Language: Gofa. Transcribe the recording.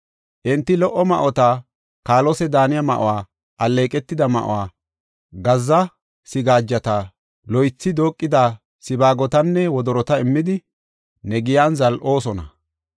Enti lo77o ma7ota, kaalose daaniya ma7uwa, alleeqetida ma7uwa, gazza sigaajata, loythi dooqida sibaagotanne wodorota immidi, ne giyan zal7oosona.